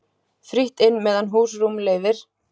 Frítt inn meðan húsrúm leyfir.